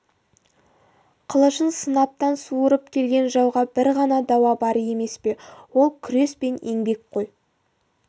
қылышын қынаптан суырып келген жауға бір ғана дауа бар емес пе ол күрес пен еңбек қой